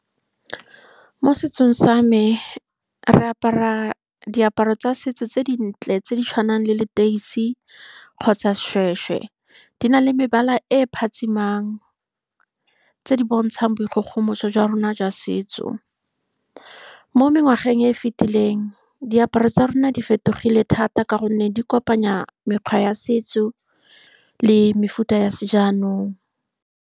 Mo setsong sa me re apara diaparo tsa setso tse dintle, tse di tshwanang le leteisi kgotsa seshweshwe. Di na le mebala e e phatsimang, tse di bontshang boikgogomoso jwa rona jwa setso. Mo mengwageng e e fitileng, diaparo tsa rona di fetogile thata ka gonne di kopanya mekgwa ya setso le mefuta ya se jaanong.